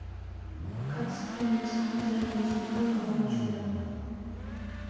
как скинуть деньги на телефон другому человеку